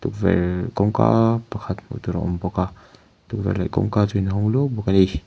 kawngka pakhat hmuh tur a awm bawk a tukverh leh kawngka chu inhawng luau bawk ani.